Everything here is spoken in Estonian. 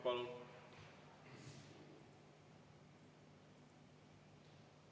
Palun!